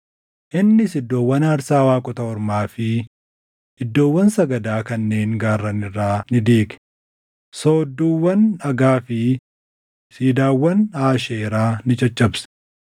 Innis iddoowwan aarsaa waaqota ormaa fi iddoowwan sagadaa kanneen gaarran irraa ni diige; soodduuwwan dhagaa fi siidaawwan Aasheeraa ni caccabse.